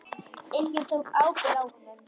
Enginn tók ábyrgð á honum.